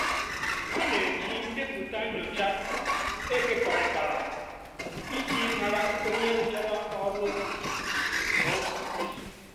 ha n'eji ndepụta nyocha ekekọrịtara iji mara onye rụchara ọlụ di iche iche kwa izu.